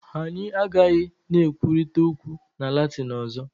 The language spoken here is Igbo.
Anyị agaghị na-ekwurịta okwu na Latin ọzọ